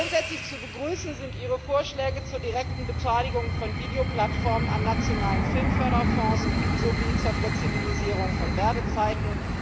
Grundsätzlich zu begrüßen sind Ihre Vorschläge zur direkten Beteiligung von Videoplattformen an nationalen Filmförderfonds sowie zur Flexibilisierung von Werbezeiten.